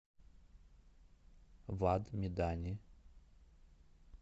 вад медани